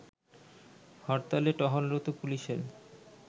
হরতালে টহলরত পুলিশের